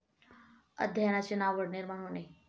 अध्ययनाची नावड निर्माण होणे.